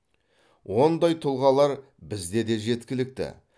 ондай тұлғалар бізде де жеткілікті